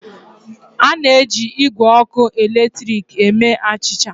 A na-eji igwe ọkụ eletrik eme achịcha.